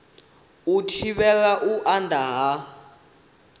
u thivhela u anda ha